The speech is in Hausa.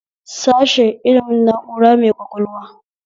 Sashe ilimin na'ura mai ƙwaƙwalwa